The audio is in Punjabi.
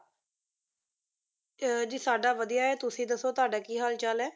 ਅਹ ਜੀ ਸਾਡਾ ਵਧੀਆ ਹੈ, ਤੁਸੀਂ ਦੱਸੋ ਤੁਹਾਡਾ ਕੀ ਹਾਲ-ਚਾਲ ਹੈ,